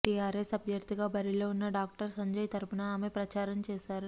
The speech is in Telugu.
టీఆర్ఎస్ అభ్యర్థిగా బరిలో ఉన్న డాక్టర్ సంజయ్ తరపున ఆమె ప్రచారం చేశారు